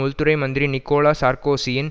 உள்துறை மந்திரி நிக்கோலா சார்க்கோசியின்